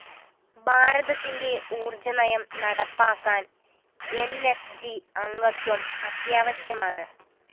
ഭാരതത്തിന്റെ ഊര്‍ജ്ജ നയം നടപ്പാക്കാന്‍ ന്‌ സ്‌ ജി അംഗത്വം അത്യാവശ്യമാണ്